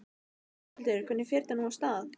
Þórhildur, hvernig fer þetta nú af stað?